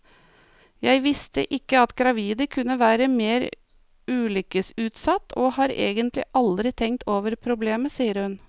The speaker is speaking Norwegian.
Jeg visste ikke at gravide kunne være mer ulykkesutsatt, og har egentlig aldri tenkt over problemet, sier hun.